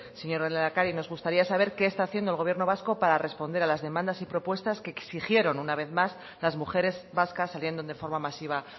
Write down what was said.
señor lehendakari nos gustaría saber qué está haciendo el gobierno vasco para responder a las demandas y propuestas que exigieron una vez más las mujeres vascas saliendo de forma masiva